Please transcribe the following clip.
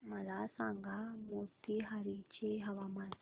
मला सांगा मोतीहारी चे हवामान